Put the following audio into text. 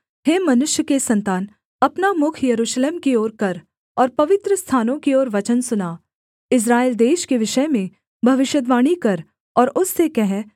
हे मनुष्य के सन्तान अपना मुख यरूशलेम की ओर कर और पवित्रस्थानों की ओर वचन सुना इस्राएल देश के विषय में भविष्यद्वाणी कर और उससे कह